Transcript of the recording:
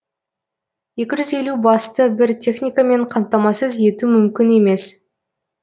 екі жүз елу басты бір техникамен қамтамасыз ету мүмкін емес